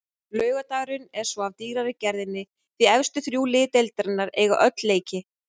Laugardagurinn er svo af dýrari gerðinni því efstu þrjú lið deildarinnar eiga öll leiki.